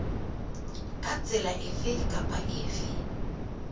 ka tsela efe kapa efe